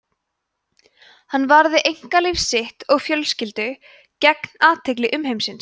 hann varði einkalíf sitt og fjölskyldu gegn athygli umheimsins